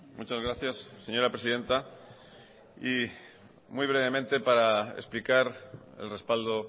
muchas gracias señora presidenta y muy brevemente para explicar el respaldo